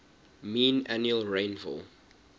mean annual rainfall